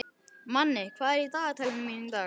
Manni, hvað er í dagatalinu mínu í dag?